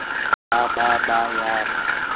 ba ba ba ya re